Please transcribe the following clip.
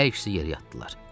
Hər ikisi yerə atdılar.